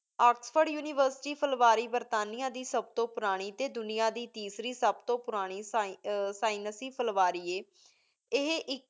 Oxford University ਫੇਲ੍ਵਾਰੀ ਬੇਰ੍ਤਾਨੇਯਾਂ ਦੀ ਸਬ ਤੁਬ ਪੁਰਾਨੀ ਸੀ ਦੁਨੀਆ ਦੀ ਤੇਸਾਰੀ ਸਬ ਤੂੰ ਪੁਰਾਨੀ ਸ੍ਵੰ ਆਯ ਸੈਂਸੈ ਫ਼ਰਵਰੀ ਆਯ ਏਹੀ ਏਕ